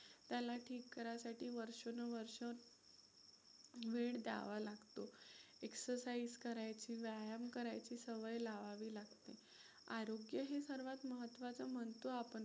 त्याला ठीक करायसाठी वर्षानुवर्षं वेळ द्यावा लागतो. exercise करायची, व्यायाम करायची सवय लावावी लागते. आरोग्य हे सर्वात महत्त्वाचं म्हणतो आपण,